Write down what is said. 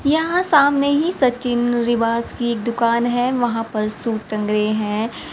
यहां सामने ही सचिन निवास की दुकान है वहां पर सूट टंगे हैं।